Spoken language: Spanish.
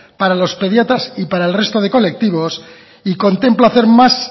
para los pediatras y para el resto de colectivos y contempla hacer más